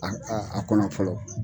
a kɔnɔ fɔlɔ.